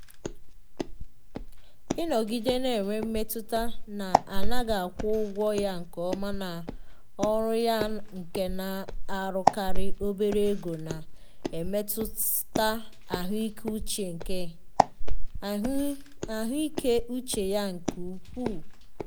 ịnọgide na-enwe mmetụta na a naghị akwụ ụgwọ ya nke ọma na ọrụ ya nke na-arụkarị obere oge na-emetụta ahụike uche ya nke ukwuu.